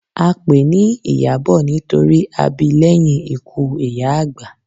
A pèé ni Ìyábọ̀ nítorí a bi lẹ́yìn ikú ìyá àgbà.